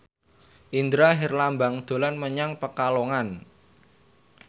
Indra Herlambang dolan menyang Pekalongan